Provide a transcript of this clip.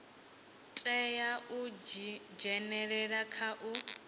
tea u dzhenelela kha u